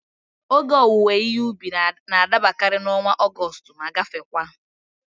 Ógè owuwe ihe ubi n'adabakari n'ọnwa Ọgọstụ ma gafekwaa